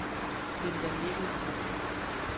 Linda Mikkelsen